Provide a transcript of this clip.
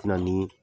Na ni